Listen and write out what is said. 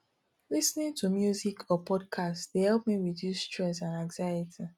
lis ten ing to music or podcasts dey help me reduce stress and anxiety